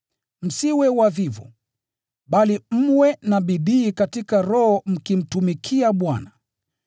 Msiwe wavivu, bali mwe na bidii katika roho mkimtumikia Bwana.